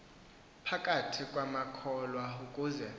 phakathi kwamakholwa ukuze